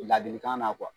Ladilikan na